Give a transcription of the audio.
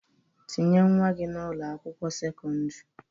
Tinye nwa gi na Ụlọ akwụkwọ sekọndrị.